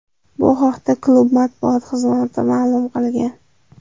Bu haqda klub matbuot xizmati ma’lum qilgan .